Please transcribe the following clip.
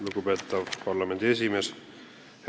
Lugupeetav parlamendi esimees!